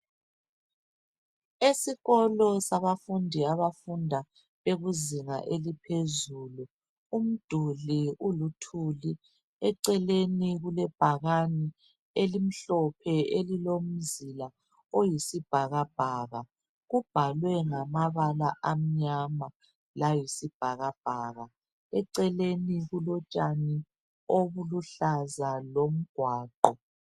Esikolo sabafundi abafunda izinga eliphezulu umduli uluthuli eceleni kulebhakani elimhlophe elilomzila oyisibhakabhaka kubhalwe ngamabala amnyama layisibhakabhaka. Eceleni kulotshani obukuhlaza lomgwaqo